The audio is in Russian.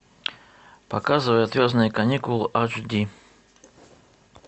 показывай отвязные каникулы аш ди